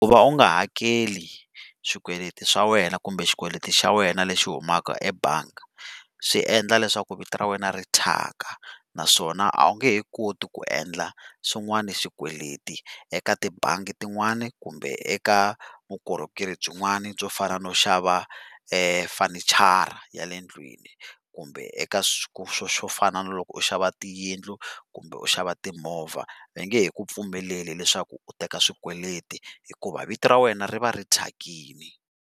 Ku va u nga hakeli swikweleti swa wena kumbe xikweleti xa wena lexi humaka ebangi, swi endla leswaku vito ra wena ri thyaka, naswona a wu nge he koti ku endla swin'wana swikweleti eka tibangi tin'wani kumbe eka vukorhokeri byin'wani byo fana no xava fenichara ya le ndlwini kumbe eka swo fana na loko u xava tiyindlu kumbe u xava timovha. Va nge he ku pfumeleli leswaku u teka swikweleti hikuva vito ra wena ri va ri thyakini.